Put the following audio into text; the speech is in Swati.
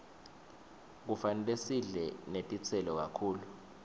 kufanele sidle netitselo kakhulu